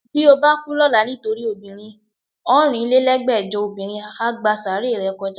Bí o bá kú lọ́la nítorí obìnrin, ọ̀rinlélẹ́gbẹ́jọ obìnrin á gba sàáárè rẹ kọjá